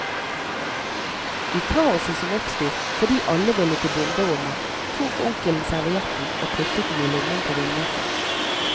I kaoset som oppsto, fordi alle ville til bomberommet, tok onkelen servietten og puttet den i lommen på vindjakken.